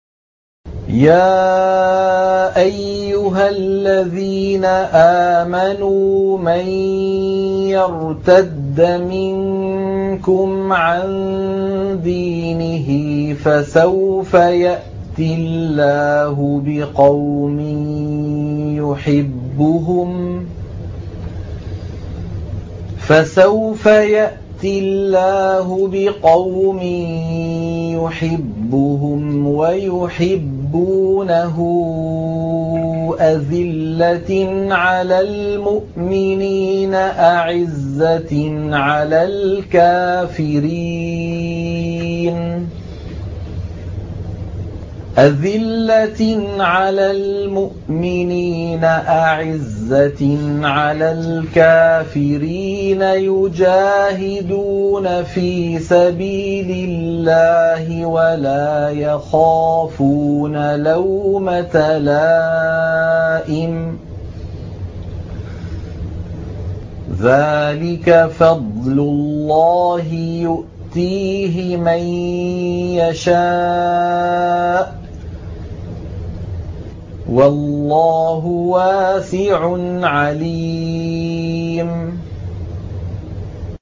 يَا أَيُّهَا الَّذِينَ آمَنُوا مَن يَرْتَدَّ مِنكُمْ عَن دِينِهِ فَسَوْفَ يَأْتِي اللَّهُ بِقَوْمٍ يُحِبُّهُمْ وَيُحِبُّونَهُ أَذِلَّةٍ عَلَى الْمُؤْمِنِينَ أَعِزَّةٍ عَلَى الْكَافِرِينَ يُجَاهِدُونَ فِي سَبِيلِ اللَّهِ وَلَا يَخَافُونَ لَوْمَةَ لَائِمٍ ۚ ذَٰلِكَ فَضْلُ اللَّهِ يُؤْتِيهِ مَن يَشَاءُ ۚ وَاللَّهُ وَاسِعٌ عَلِيمٌ